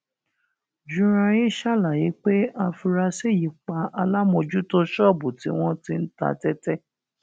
juranyin ṣàlàyé pé afurasí yìí pa alámòójútó ṣọọbù tí wọn ti ń ta tẹtẹ